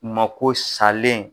Mako salen.